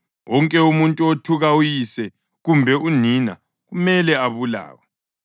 Wonke umuntu othuka uyise kumbe unina kumele abulawe.